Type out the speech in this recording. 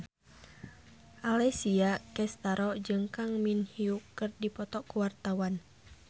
Alessia Cestaro jeung Kang Min Hyuk keur dipoto ku wartawan